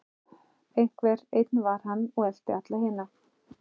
Einhver einn var hann og elti alla hina.